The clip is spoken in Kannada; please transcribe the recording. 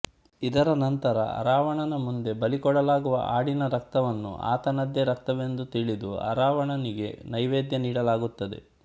ಇದರ ನಂತರ ಅರಾವಣನ ಮುಂದೆ ಬಲಿ ಕೊಡಲಾಗುವ ಆಡಿನ ರಕ್ತವನ್ನು ಆತನದೇ ರಕ್ತವೆಂದು ತಿಳಿದು ಅರಾವಣನಿಗೆ ನೈವೇದ್ಯ ನೀಡಲಾಗುತ್ತದೆ